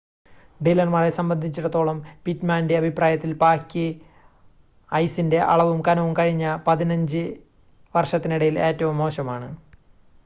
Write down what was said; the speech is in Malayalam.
സീലർമാരെ സംബന്ധിച്ചിടത്തോളം പിറ്റ്‌മാൻ്റെ അഭിപ്രായത്തിൽ പായ്ക്ക് ഐസിൻ്റെ അളവും കനവും കഴിഞ്ഞ 15 വർഷത്തിനിടയിൽ ഏറ്റവും മോശമാണ്